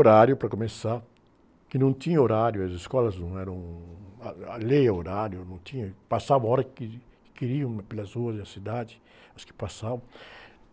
horário para começar, que não tinha horário, as escolas não eram, ah, a lei é horário, não tinha, passava a hora que, que queriam pelas ruas da cidade, as que passavam,